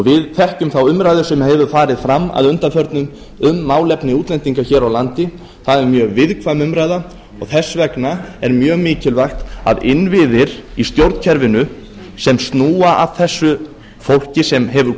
við þekkjum þá umræðu sem hefur farið fram að undanförnu um málefni útlendinga hér á landi það er mjög viðkvæm umræða og þess vegna er mjög mikilvægt að innviðir í stjórnkerfinu sem snúa að þessu fólki sem hefur